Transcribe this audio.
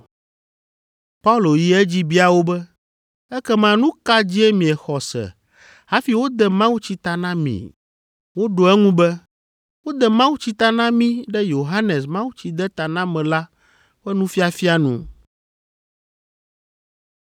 Paulo yi edzi bia wo be, “Ekema nu ka dzie miexɔ se hafi wode mawutsi ta na mi?” Woɖo eŋu be, “Wode mawutsi ta na mí ɖe Yohanes Mawutsidetanamela ƒe nufiafia nu.”